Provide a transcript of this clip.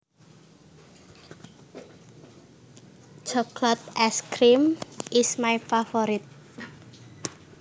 Chocolate ice cream is my favorite